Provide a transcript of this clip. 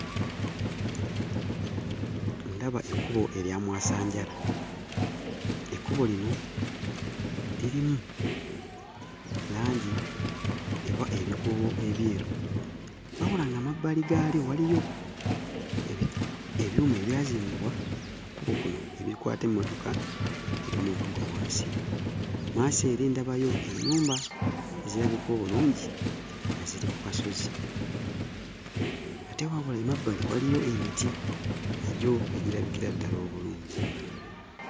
Ndaba ekkubo erya mwasanjala. Ekkubo lino lirimu langi oba ebikuubo ebyeru. Wabula nga mmabbali gaalyo waliyo ebyuma ebyazimbibwa ku kkubo kuno ebikwata emmotoka zireme okugwa wansi. Mmaaso eri ndabayo ennyumba ezirabika obulungi nga ziri ku kasozi. Ate wabula emabbali waliyo emiti nagyo egirabikira ddala obulungi.